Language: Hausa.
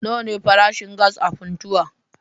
Nawa ne farashin gas a Funtuwa?